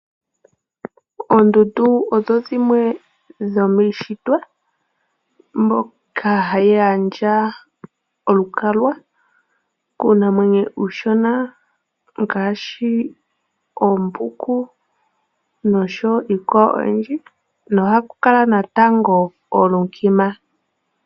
Oondundu odho dhimwe dhomiintshitwa mbyoka hayi gandja olukalwa kuunamwenyo uushona ngaashi oombuku noshowo iikwawo oyindji nohaku kala natango oolunkima.